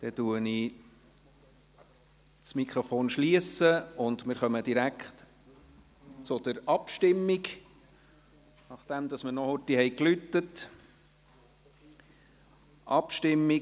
Ich schliesse das Mikrofon, und wir kommen direkt zur Abstimmung, nachdem wir noch rasch geläutet haben.